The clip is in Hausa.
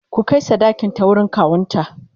ku Kai sadakin ta wurin kawunta!